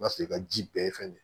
N'a sɔrɔ i ka ji bɛɛ ye fɛn de ye